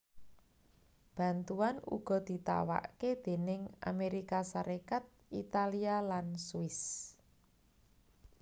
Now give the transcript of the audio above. Bantuan uga ditawakké déning Amérika Sarékat Italia lan Swiss